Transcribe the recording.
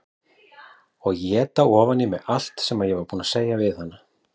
Og éta ofan í mig allt sem ég var búin að segja við hana.